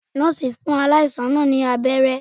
Nọ́ọ̀sì fún aláìsàn náà ní abẹ́rẹ́